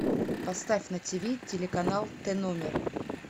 поставь на тв телеканал тномер